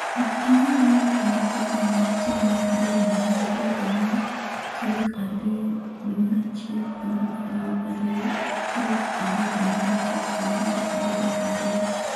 Ok inyal winjo kendo program mag TV mar Dira Dunia tarik ang'wen tarik 02/01/2020 tarik 3 dwe mar achiel higa mar 2020